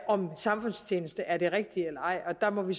om samfundstjeneste er det rigtige eller ej og der må vi